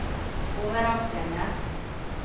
overraskende